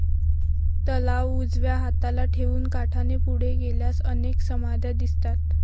तलाव उजव्या हाताला ठेवून काठाने पुढे गेल्यास अनेक समाध्या दिसतात